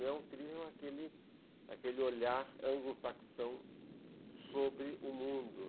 Não é um thriller com aquele aquele olhar anglo-saxão sobre o mundo.